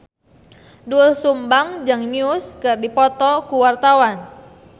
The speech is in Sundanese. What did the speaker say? Doel Sumbang jeung Muse keur dipoto ku wartawan